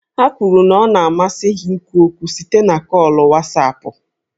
Ha kwuru na ọ na-amasị ha ikwu okwu site na kọọlụ Wasapụ